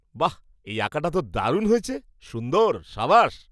বাহ্! এই আঁকাটা তো দারুণ হয়েছে, সুন্দর! সাবাশ!